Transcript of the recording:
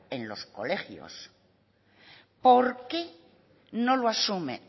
en los colegios por qué no lo asume